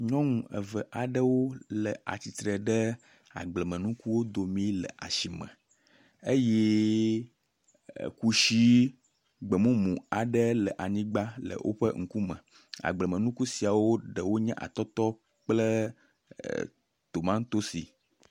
Nyɔnu eve aɖewo le atsitre ɖe agblemnukuwo domi le asime eye kusi gbemumu aɖe le anyigba le woƒe ŋkume. Agblemenuku sia ɖewo nye atɔtɔ kple e tomatosi.